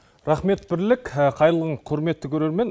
рахмет бірлік қайырлы күн құрметті көрермен